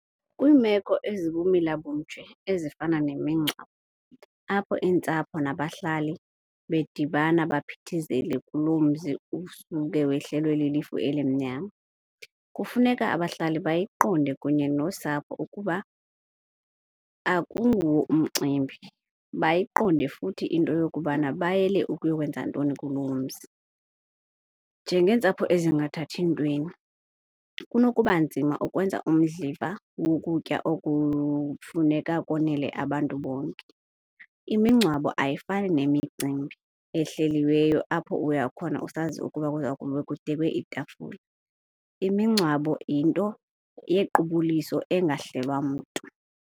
Kwiimeko ezibumila bunje ezifana nemingcwabo apho iintsapho nabahlali bedibana baphithizele kuloo mzi usuke wehlelwe lilifu elimnyama, kufuneka abahlali bayiqonde kunye nosapho ukuba akunguwo umcimbi. Bayiqonde futhi into yokuba bayele ukuyokwenza ntoni kuloo mzi. Njengeentsapho ezingathathi ntweni kunokuba nzima ukwenza umdliva wokutya okufuneka konele abantu bonke. Imingcwabo ayifani nemicimbi ehleliweyo apho uyakhona usazi ukuba kuza kube kudekwe iitafule, imingcwabo yinto yequbuliso engahlelwa mntu.